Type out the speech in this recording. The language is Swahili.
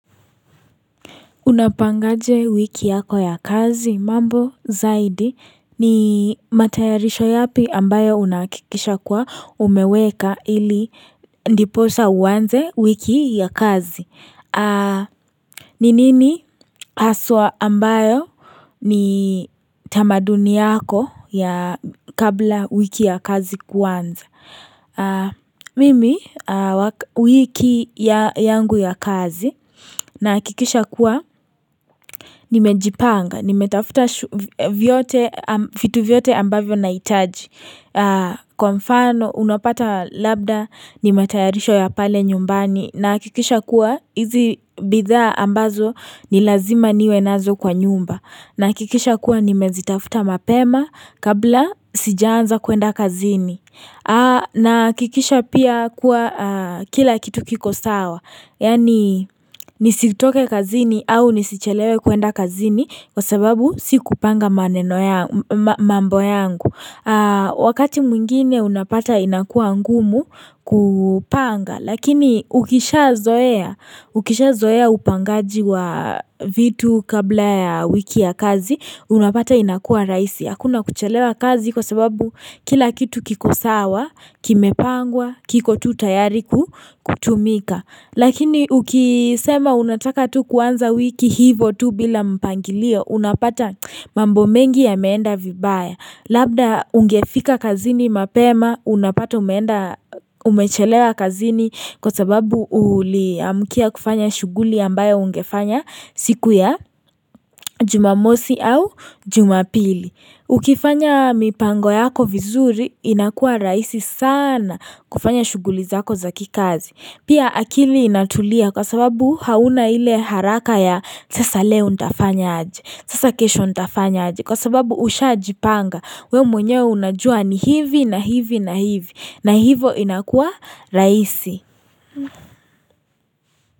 Unapangaje wiki yako ya kazi mambo zaidi ni matayarisho yapi ambayo unakikisha kwa umeweka ili ndiposa uanze wiki ya kazi. Ninini haswa ambayo ni tamaduni yako ya kabla wiki ya kazi kuanza? Mimi wiki yangu ya kazi na hakikisha kuwa. Nimejipanga, nimetafuta vyote vitu vyote ambavyo nahitaji Kwa mfano unapata labda, ni matayarisho ya pale nyumbani nahakikisha kuwa hizi bidha ambazo ni lazima niwe nazo kwa nyumba na kikisha kuwa nimezitafuta mapema kabla sijaanza kuenda kazini nahakikisha pia kuwa kila kitu kiko sawa Yaani nisitoke kazini au nisichelewe kuenda kazini kwa sababu si kupanga mambo yangu Wakati mwingine unapata inakua ngumu kupanga Lakini ukisha zoea upangaji wa vitu kabla ya wiki ya kazi Unapata inakua raisi Hakuna kuchelewa kazi kwa sababu kila kitu kikosawa, kimepangwa, kiko tutayari kutumika Lakini ukisema unataka tu kuanza wiki hivo tu bila mpangilio unapata mambo mengi yameenda vibaya Labda ungefika kazini mapema unapata umeenda umechelewa kazini kwa sababu uliamkia kufanya shughuli ambayo ungefanya siku ya jumamosi au jumapili Ukifanya mipango yako vizuri inakua raisi sana kufanya shughuli zako zaki kazi Pia akili inatulia kwa sababu hauna ile haraka ya sasa leo ntafanya aje Sasa kesho ntafanya aji Kwa sababu ushajipanga We mwenye unajua ni hivi na hivi na hivi na hivo inakua raisi.